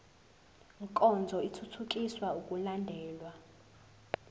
nkonzo ithuthukisa ukulandelwa